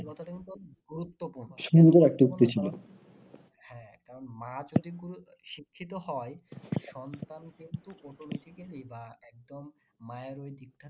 এই কথাটা কিন্তু অনেক গুরুত্বপূর্ণ হ্যাঁ কারণ মা যদি শিক্ষিত হয় সন্তান কিন্তু প্রথম থেকেই বা একদম মায়ের ওই দীক্ষা